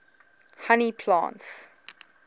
honey plants